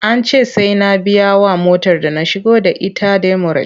An ce sai na biyawa motar da na shigo da ita demurej.